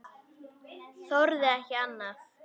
Þorði ekki annað.